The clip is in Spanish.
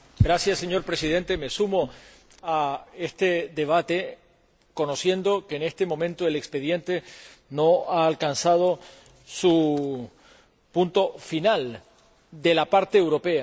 Señor Presidente, me sumo a este debate sabiendo que en estos momentos el expediente no ha alcanzado su punto final por parte europea.